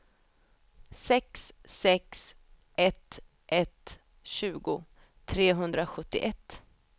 sex sex ett ett tjugo trehundrasjuttioett